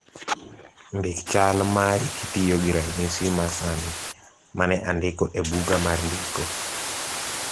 ndik chal mari kitiyo gi ranyisi ma sani mane andiko e buga mar ndiko